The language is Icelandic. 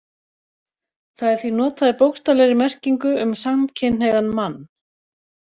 Það er því notað í bókstaflegri merkingu um samkynhneigðan mann.